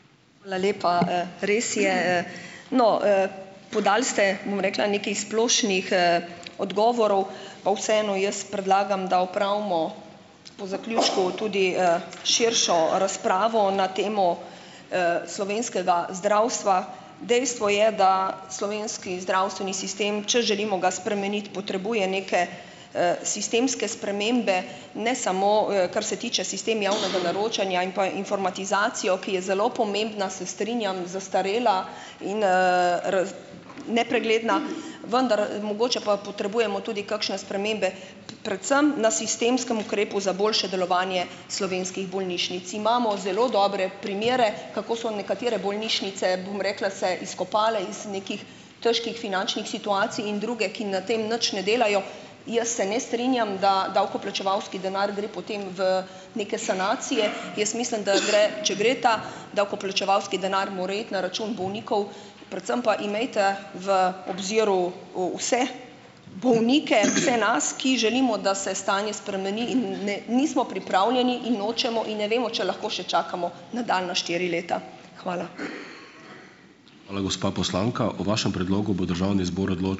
Hvala lepa. Res je. No, podal ste, bom rekla, nekaj splošnih, odgovorov, pa vseeno jaz predlagam, da opravimo po zaključku tudi, širšo razpravo na temo, slovenskega zdravstva. Dejstvo je, da slovenski zdravstveni sistem, če želimo ga spremeniti, potrebuje neke, sistemske spremembe, ne samo, kar se tiče sistema javnega naročanja in pa informatizacije, ki je zelo pomembna, se strinjam, zastarela in, nepregledna, vendar, mogoče pa potrebujemo tudi kakšne spremembe predvsem na sistemskem ukrepu za boljše delovanje slovenskih bolnišnic. Imamo zelo dobre primere, kako so nekatere bolnišnice, bom rekla, se izkopale iz nekih težkih finančnih situacij in druge, ki na tem nič ne delajo. Jaz se ne strinjam, da davkoplačevalski denar gre potem v neke sanacije. Jaz mislim, da gre, če gre ta davkoplačevalski denar, mora iti na račun bolnikov, predvsem pa imejte v obziru, vse bolnike, vse nas, ki želimo, da se stanje spremeni, in ne, nismo pripravljeni in nočemo in ne vemo, če lahko še čakamo nadaljnja štiri leta. Hvala.